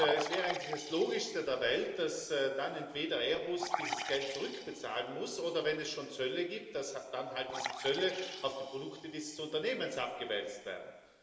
Es wäre eigentlich das Logischste der Welt, dass dann entweder Airbus dieses Geld zurückbezahlen muss oder, wenn es schon Zölle gibt, dass dann halt diese Zölle auf die Produkte dieses Unternehmens abgewälzt werden.